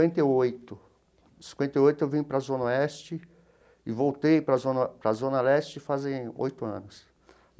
e oito, cinquenta e oito eu vim para a Zona Oeste e voltei para a Zona para a Zona Leste fazem oito anos.